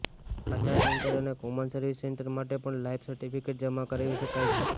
આધાર centre અને common service centre માટે પણ લાઇફ સર્ટિફિકેટ જમા કરાવી શકાય છે